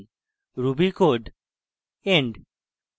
ruby code end